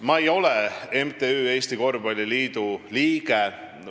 Ma ei ole MTÜ Eesti Korvpalliliidu liige.